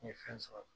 N ye fɛn sɔrɔ